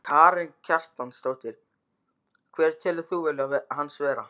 Karen Kjartansdóttir: Hver telur þú vilja hans vera?